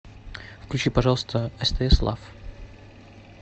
включи пожалуйста стс лав